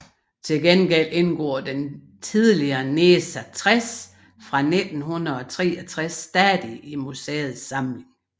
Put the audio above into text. Til gengæld indgår den tidligere NESA 60 fra 1963 stadig i museets samling